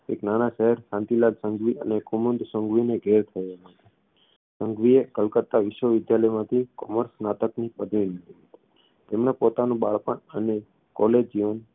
એક નાના શહેર શાંતિલાલ સંઘવી અને કુમુદ સંઘવીને ઘેર થયો સંઘવીએ કલકત્તા વિશ્વવિદ્યાલયમાંથી commerce સ્નાતકની પદવી મેળવી હતી તેમણે પોતાનું બાળપણ અને college જીવન